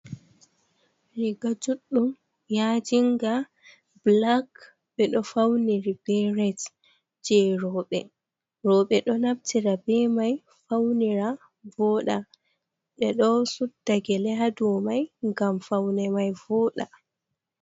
"Riga juɗɗum" yajinga ɓulak ɓe ɗo fauniri be ret je roɓe. Roɓe ɗo naftira be mai faunira voɗa ɓe ɗo suɗɗa gele ha ɗow mai ngam faune mai voɗa